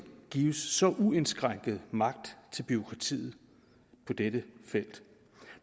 gives så uindskrænket magt til bureaukratiet på dette felt